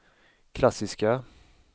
klassiska